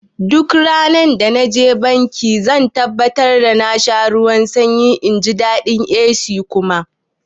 Duk randa naje banki zan tabbatar da na sha ruwan sanyi inji daɗin AC kuma